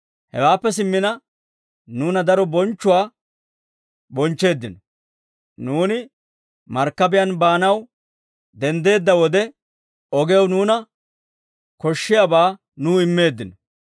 Hewaappe simmina nuuna daro bonchchuwaa bonchcheeddino; nuuni markkabiyaan baanaw denddeedda wode, ogew nuuna koshshiyaabaa nuw immeeddino.